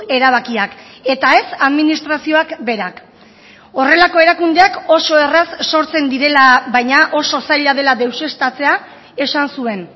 erabakiak eta ez administrazioak berak horrelako erakundeak oso erraz sortzen direla baina oso zaila dela deuseztatzea esan zuen